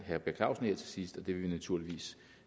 herre per clausen her til sidst dem vil vi naturligvis